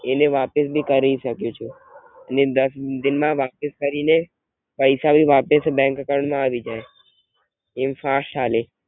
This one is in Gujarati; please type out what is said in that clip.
એને વાપસ ભી કરીસકુ છું, ને દસ દિન માં વાપસ કરીને પૈસા ભી વાપસ બેંક account માં આવી જાય એમ ફાસ્ટ હાલે.